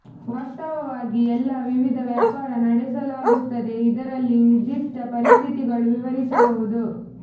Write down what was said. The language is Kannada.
ವಾಸ್ತವವಾಗಿ ಎಲ್ಲಾ ವಿವಿಧ ವ್ಯಾಪಾರ ನಡೆಸಲಾಗುತ್ತದೆ ಇದರಲ್ಲಿ ನಿರ್ದಿಷ್ಟ ಪರಿಸ್ಥಿತಿಗಳು ವಿವರಿಸಬಹುದು